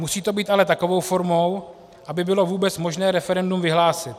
Musí to být ale takovou formou, aby bylo vůbec možné referendum vyhlásit.